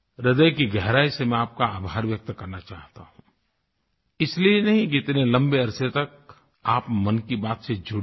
ह्रदय की गहराई से मैं आप का आभार व्यक्त करना चाहता हूँ इसलिए नहीं कि इतने लम्बे अरसे तक आप मन की बात से जुड़े रहे